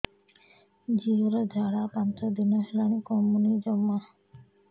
ଝିଅର ଝାଡା ପାଞ୍ଚ ଦିନ ହେଲାଣି କମୁନି ଜମା